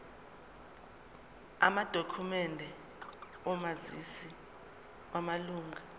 amadokhumende omazisi wamalunga